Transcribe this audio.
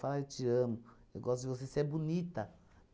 eu te amo, eu gosto de você, você é bonita.